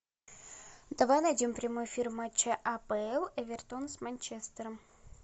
давай найдем прямой эфир матча апл эвертон с манчестером